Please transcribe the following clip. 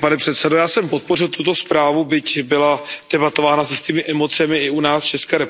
Pane předsedající, já jsem podpořil tuto zprávu, byť byla debatována s jistými emocemi i u nás, v ČR,